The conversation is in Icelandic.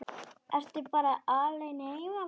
Ertu bara alein heima barn?